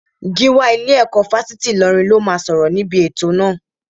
Gíwá ilé-ẹ̀kọ́ Fásitì Ìlọrin ló máa sọ̀rọ̀ níbi ètò náà